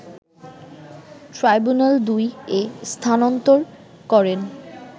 ট্রাইব্যুনাল-২ এ স্থানান্তর করেন